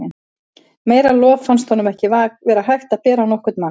Meira lof fannst honum ekki vera hægt að bera á nokkurn mann.